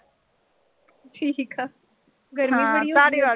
ਠੀਕ ਆ ਗਰਮੀ ਬੜੀ ਹੋਈ ਪਈ ਆ।